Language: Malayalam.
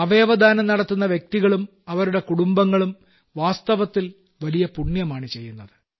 അവയവദാനം നടത്തുന്ന വ്യക്തികളും അവരുടെ കുടുംബങ്ങളും വാസ്തവത്തിൽ വലിയ പുണ്യമാണ് ചെയ്യുന്നത്